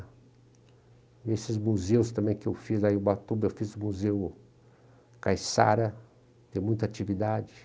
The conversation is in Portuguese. E esses museus também que eu fiz, na em Ubatuba eu fiz o Museu Caissara, tem muita atividade.